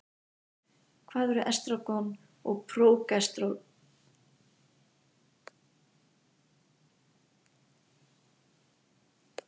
Hvað eru estrógen og prógesterón og hvaða hlutverki gegna þau?